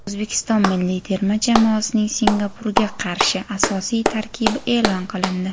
O‘zbekiston milliy terma jamoasining Singapurga qarshi asosiy tarkibi e’lon qilindi:.